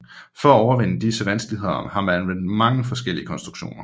For at overvinde disse vanskeligheder har man anvendt mange forskellige konstruktioner